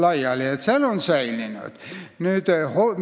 Aga üksainus valimisringkond on säilinud.